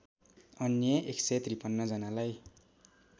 अन्य १५३ जनालाई